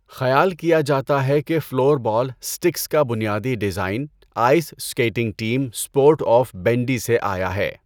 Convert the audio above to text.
خیال کیا جاتا ہے کہ فلور بال اسٹکس کا بنیادی design ice skating team sport of bandy سے آیا ہے۔